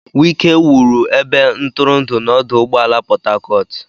Wike wuru ebe ntụrụndụ na ọdụ ụgbọ Port Harcourt.